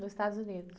Nos Estados Unidos.